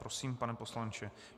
Prosím, pane poslanče.